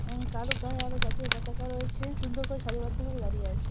উম কারো গায়ে আবার জাতীয় পতাকা রয়েছে সুন্দর করে সারিবদ্ধভাবে দাঁড়িয়ে আছে।